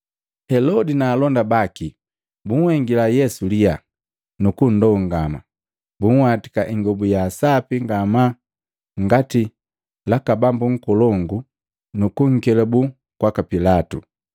Helodi na alonda baki bunhengila Yesu liyaa nu kundongama. Bunhwatika ingobu ya sapi ngamaa ngati laka bambu nkolongu, nu kunkelabuu kwaka Pilatu.